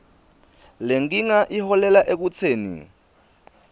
lenkinga iholele ekutseni